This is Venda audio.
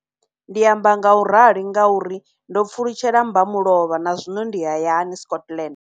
Ndi amba ngauralo nga uri ndo pfulutshela mbamulovha na zwino ndi hayani, Scotland.